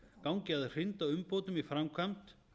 gangi að hrinda umbótum í framkvæmd